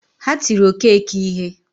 Ha tiri Okeke ihe